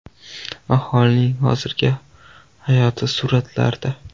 Aholining hozirgi hayoti suratlarda.